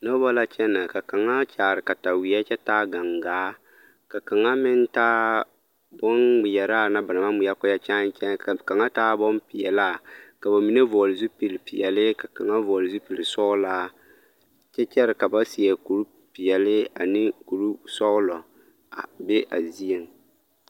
Noba la kyɛnɛ ka kaŋa kyaare kataweɛ kyɛ taa gaŋgaa ka kaŋa meŋ taa bonŋmeɛraa na ba naŋ maŋ ŋmeɛrɛ ka o erɛ kyai kyai ka kaŋa taa bonpeɛlaa ka ba mine vɔgle zupil peɛlle ka kaŋa vɔgle zupil sɔglaa kyɛ kyɛre ka ba seɛ kuripeɛlle ane kurisɔglɔ a be a zieŋ.